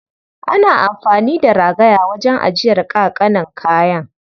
Ana amfani da ragaya wajen ajiyar ƙaƙanan kayan.